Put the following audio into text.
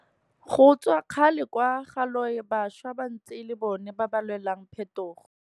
Go tswa kgale kwa ga loe bašwa ba ntse e le bona ba ba lwelang phetogo.